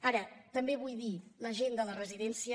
ara també vull dir que la gent de la residència